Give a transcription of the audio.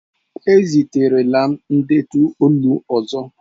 Eziterela m ndetu olu ọzọ!